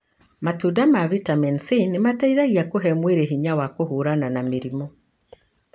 Matunda ma vitamin C nĩmateithagia kũhe mwĩrĩ hinya wa kũhũrana na mĩrimũ.